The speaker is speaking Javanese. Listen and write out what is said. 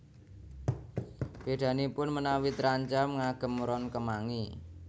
Bèdanipun menawi trancam ngagem ron kemangi